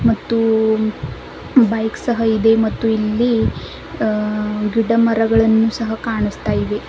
ಮತ್ತು ಬೈಕ್ ಸಹ ಇದೆ ಮತ್ತು ಇಲ್ಲಿ ಅಹ ಗಿಡ ಮರಗಳನ್ನು ಸಹ ಕಾಣಸ್ತಾ ಇವೆ.